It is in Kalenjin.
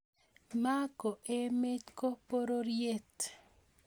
MA ko emet, ko pororiet